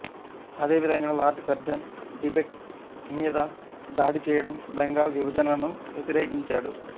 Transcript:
అదేవిధంగా Lord Curzon Tibet మీద దాడి చేయడం బెంగాల్ విభజనను వ్యతిరేకించాడు